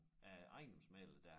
Af æ ejendomsmægler der